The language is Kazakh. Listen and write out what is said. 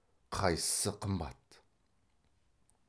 қайсысы қымбат